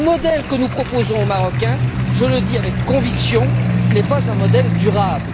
Le modèle que nous proposons aux Marocains, je le dis avec conviction, n'est pas un modèle durable.